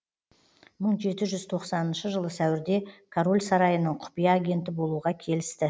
мың жеті жүз тоқсаныншы жылы сәуірде король сарайының құпия агенті болуға келісті